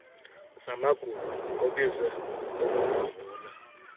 zamagugu obuzwe ukukhumbula